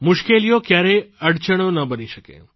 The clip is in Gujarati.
મુશ્કેલીઓ ક્યારેય અડચણો ન બની શકે